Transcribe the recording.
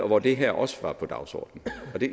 hvor det her også var på dagsordenen